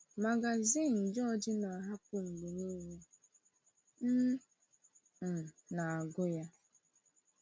Magazin George na-ahapụ mgbe niile, m um na-agụ ya.